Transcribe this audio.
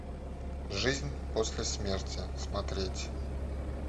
жизнь после смерти смотреть